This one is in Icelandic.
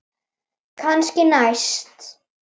Kannski næst?